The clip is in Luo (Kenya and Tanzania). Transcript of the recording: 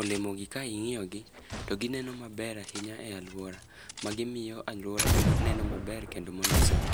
Olemo gi ka ingíyo gi to gineno maber ahinya e alwora. Ma gimiyo alwora bedo, neno maber kendo mondisore.